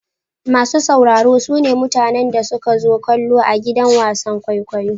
Masu sauraro su ne mutanen da suka zo kallo a gidan wasan kwaikwayo.